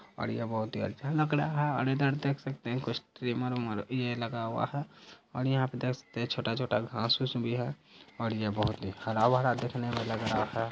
और यह बहुत ही अच्छा लग रहा है और इधर देख सकते है कुछ ट्रिमर-व्रिमर भी लगा हुआ है और यहां पे देख सकते है छोटा-छोटा घास-उस भी है और ये बहुत ही हरा-भरा देखने में लग रहा है।